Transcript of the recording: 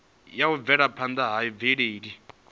ya u bvelaphanda ha mvelele